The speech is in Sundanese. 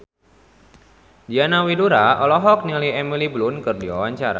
Diana Widoera olohok ningali Emily Blunt keur diwawancara